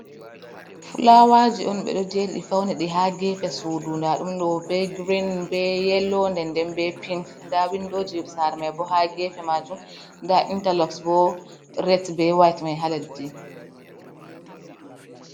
Fulawaji on ɓe do jeriɗi fauniɗi ha gefe sudu da ɗum ɗo be green be yelo nden nden be pink da windoji sare mai bo ha gefe majum da interlok bo ret be wayet mai ha leɗɗi.